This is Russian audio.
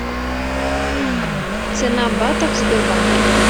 цена бата в сбербанке